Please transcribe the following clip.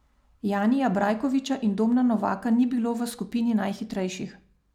Janija Brajkoviča in Domna Novaka ni bilo v skupini najhitrejših.